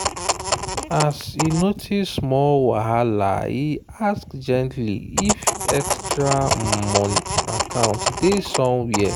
as e notice small whahalae ask gently if extra account day somewhere.